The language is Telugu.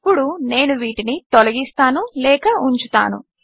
ఇప్పుడు నేను వీటిని తొలగిస్తాను లేక ఉంచుతాను